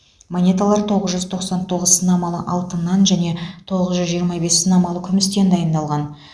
монеталар тоғыз жүз тоқсан тоғыз сынамалы алтыннан және тоғыз жүз жиырма бес сынамалы күмістен дайындалған